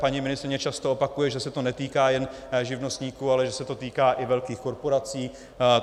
Paní ministryně často opakuje, že se to netýká jen živnostníků, ale že se to týká i velkých korporací.